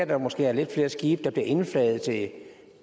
der måske er lidt flere skibe der bliver indflaget til